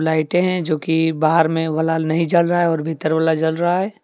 लाइटे हैं जोकि बाहर में वाला नहीं जल रहा है और भीतर वाला जल रहा है।